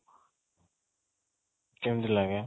କେମିତି ଲାଗେ?